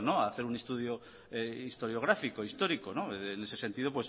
hacer un estudio historiográfico histórico en ese sentido